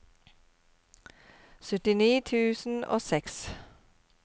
syttini tusen og seks